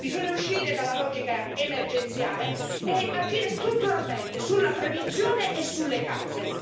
Bisogna uscire dalla logica emergenziale e agire strutturalmente sulla prevenzione e sulle cause.